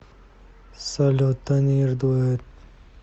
салют танир дуэт